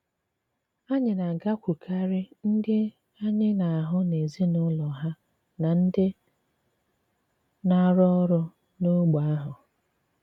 Ànyị̀ na-àgàkwùrù ndị ànyị̀ na-hụ̀ n'èzí ùlọ ha na ndị na-àrụ̀ òrụ̀ n'ógbè ahụ.